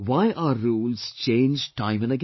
Why are rules changed time and again